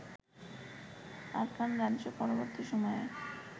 Arakan রাজ্য-পরবর্তী সময়ে